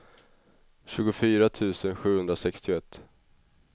tjugofyra tusen sjuhundrasextioett